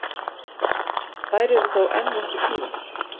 Þær eru þó enn nokkuð tíðar